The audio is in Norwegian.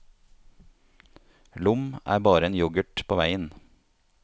Lom er bare en yoghurt på veien.